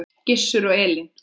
Gizur og Elín.